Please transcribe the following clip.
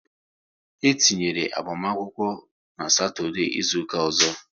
E tinyera agbamakwụkwọ n' Satọdee izuka ọzọ